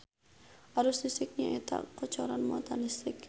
Arus listrik nyaeta kocoran muatan listrik.